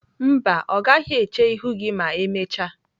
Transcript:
Mba, ọ gaghị eche ihu gị ma emechaa.